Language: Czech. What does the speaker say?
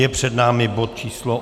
Je před námi bod číslo